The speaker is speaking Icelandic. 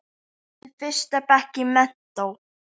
Í fyrsta bekk í menntó.